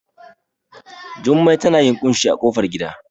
Jummai tana yin ƙunshi a ƙofar gida